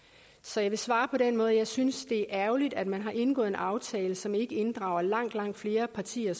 så jeg vil svare på den måde at jeg synes det er ærgerligt at man har indgået en aftale som ikke inddrager langt langt flere partier